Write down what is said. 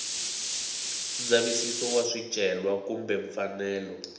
ndzavisiso wa swicelwa kumbe mfanelo